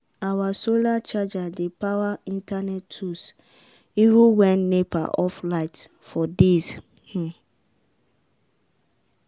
our solar charger dey power internet tools even when nepa off light for days. um